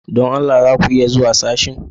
Don Allah za ku iya zuwa sashen?